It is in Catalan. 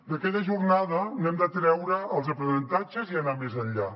d’aquella jornada n’hem de treure els aprenentatges i anar més enllà